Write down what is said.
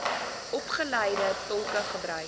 opgeleide tolke gebruik